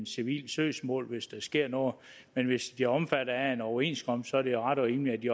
civilt søgsmål hvis der sker noget men hvis de er omfattet af en overenskomst er det ret og rimeligt at de